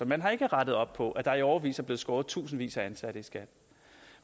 man har ikke rettet op på at der i årevis er blevet skåret tusindvis af ansatte i skat